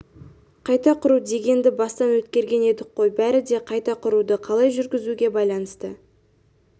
қайта құру дегенді бастан өткерген едік қой бәрі де қайта құруды қалай жүргізуге байланысты